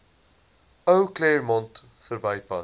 ou claremont verbypad